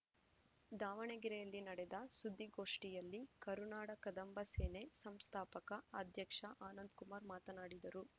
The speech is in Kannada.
ದಾವಣಗೆರೆಯಲ್ಲಿ ನಡೆದ ಸುದ್ದಿ ಗೋಷ್ಠಿಯಲ್ಲಿ ಕರುನಾಡ ಕದಂಬ ಸೇನೆ ಸಂಸ್ಥಾಪಕ ಅಧ್ಯಕ್ಷ ಆನಂದಕುಮಾರ್‌ ಮಾತನಾಡಿದರು